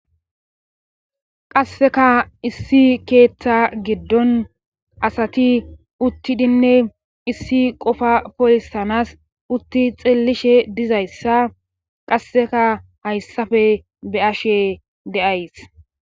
qasseka issi keeththa giddon asati uttidinne issi qofa polisanas utti xeellishe dizayssa qasseka hayssafe be 'ashe de'ays